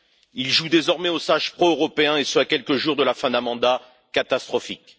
Il joue désormais au sage pro européen, et ce à quelques jours de la fin d'un mandat catastrophique.